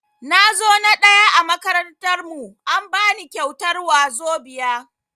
Nazo na ɗaya a makarantar mu, an bani kyautar wazobia.